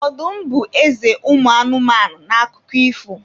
Ọdụm bụ eze ụmụ anụmanụ n'akụkọ ifo.